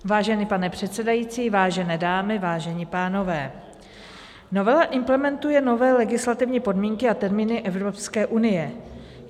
Vážený pane předsedající, vážené dámy, vážení pánové, novela implementuje nové legislativní podmínky a termíny Evropské unie.